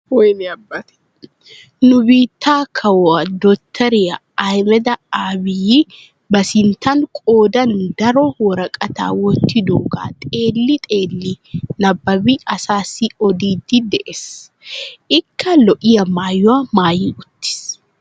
Nu biittee kaawuwaa dottoriyaa ahimeda abiyi ba sinttan qoodan daro woraqaataa wottidoogaa xeelli xeelli nabaabi asaasi odiidi de'ees. ikka lo"iyaa mayuwaa maayi uttiis.